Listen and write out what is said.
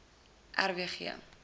r w g